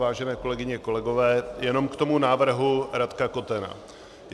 Vážené kolegyně, kolegové, jenom k tomu návrhu Radka Kotena.